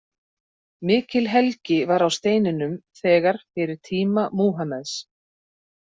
Mikil helgi var á steininum þegar fyrir tíma Múhameðs.